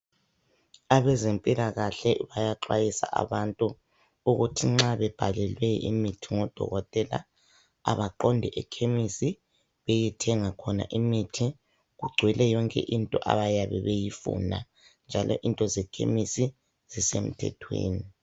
Abezempilakahle bayaxwayisa abantu ukuthi nxa bebhalelwe imithi ngodokotela abaqonde ekhemisi beyethenga khona imithi, kugcwele yonke into abayabe beyifuna njalo into zekhemisi zisemthethweni.